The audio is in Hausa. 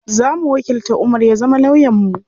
Zamu wakilta Umar ya zama lawyan mu.